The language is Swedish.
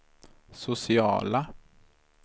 sociala